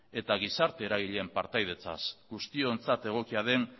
eta gizarte eragileen partaidetzaz guztiontzat egokia den